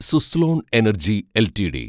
Suzlon energy LTD